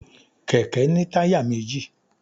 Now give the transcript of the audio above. kẹkẹ ni tayá mejí